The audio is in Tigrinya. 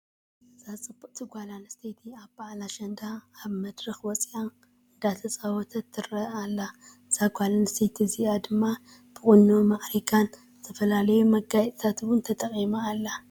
እዛ ፅብቅቲ ጓለ ኣነስተይቲ ኣብ በዓል ኣሸንዳ ኣብ መድረክ ወፂኣ እንዳተፃወተትን እንዳፃወተትን ትረአ ኣላ። እዛ ጓለ ኣነስተይቲ እዚኣ ድማ ብቁኖ ማዕሪጋን ዝተፈላለዩ መጓየፅታት እውን ተጠቂማ ኣላ።